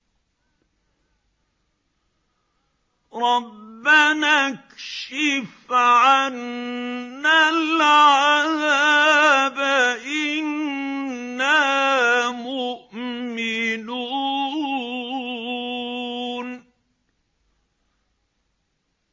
رَّبَّنَا اكْشِفْ عَنَّا الْعَذَابَ إِنَّا مُؤْمِنُونَ